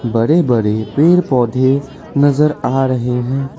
बड़े बड़े पेड़ पौधे नजर आ रहे हैं।